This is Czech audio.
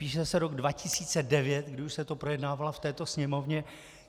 Píše se rok 2009, kdy už se to projednávalo v této Sněmovně.